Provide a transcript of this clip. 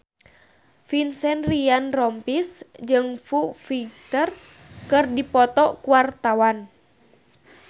Vincent Ryan Rompies jeung Foo Fighter keur dipoto ku wartawan